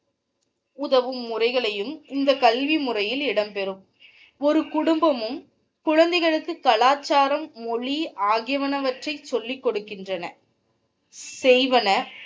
உதவும் முறைகளையும் இந்த கல்வி முறையில் இடம்பெறும் ஒரு குடும்பமும் குழந்தைகளுக்கு கலாசாரம் மொழி ஆகியனவற்றை சொல்லி கொடுக்கின்றன செய்வன.